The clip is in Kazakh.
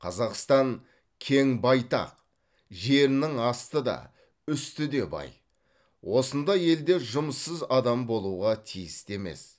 қазақстан кең байтақ жерінің асты да үсті де бай осындай елде жұмыссыз адам болуға тиісті емес